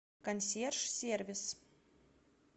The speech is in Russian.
консьерж сервис